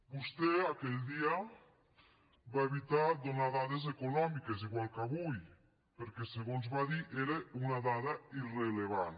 vostè aquell dia va evitar donar dades econòmiques igual que avui perquè segons va dir era una dada irrellevant